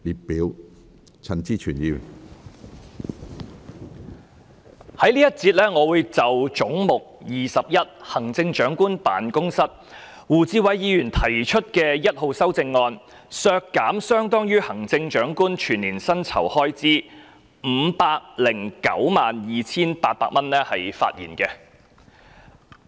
我會在這個環節就胡志偉議員因應"總目 21― 行政長官辦公室"而提出編號 1， 削減相當於行政長官全年薪酬開支 5,092,800 元的修正案發言。